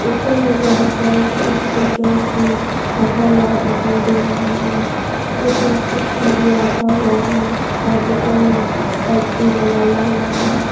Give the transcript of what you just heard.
ऊपर में बहोत सारे छोटे छोटे टॉयज भी रखा हुआ दिखाई दे रहा है और प्लास्टिक में भी रखा हुआ है और ऊपर में चिप्स लाइट भी लगाया हुआ है।